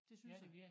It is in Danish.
Det synes jeg